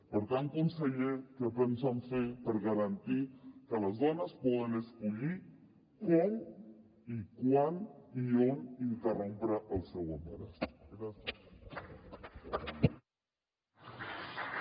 per tant conseller què pensen fer per garantir que les dones poden escollir com quan i on interrompre el seu embaràs gràcies